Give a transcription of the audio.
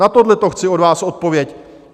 Na tohleto chci od vás odpověď.